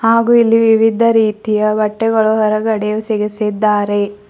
ಹಾಗು ಇಲ್ಲಿ ವಿವಿಧ ರೀತಿಯ ಬಟ್ಟೆಗಳು ಹೊರಗಡೆ ಸಿಗಿಸಿದ್ದಾರೆ.